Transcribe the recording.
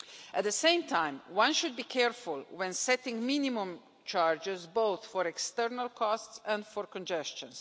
At the same time, one should be careful when setting minimum charges both for external costs and for congestion.